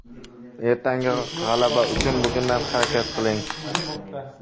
Ertangi g‘alaba uchun bugundan harakat qiling.